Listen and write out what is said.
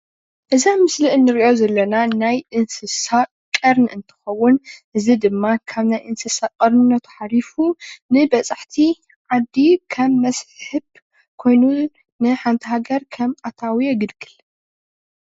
እዚ ኣብ ምስሊ እንሪኦ ዘለና ናይ እንስሳ ቀርኒ እንትከውን። እዚ ድማ ካብ ናይ እንስሳ ቀርንነቱ ሓሊፉ ንበፃሕቲ ዓዲ ከም መስሕብ ኮይኑ ንሓንቲ ሃገር ከም ኣታዊ የገልግል፡፡